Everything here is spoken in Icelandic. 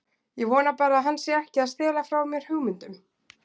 Ég vona bara að hann sé ekki að stela frá mér hugmyndum.